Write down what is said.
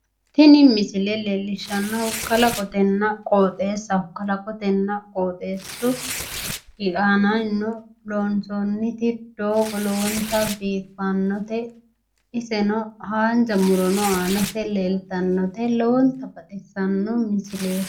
Tini misile leellishshannohu kalaqotenna qooxeessaho. kalaqotenna qooxeessu aanaannino loonsoonniti doogo lowonta biiffannote. Iseno haanja murono aanase leeltannote. Lowonta baxissanno misileeti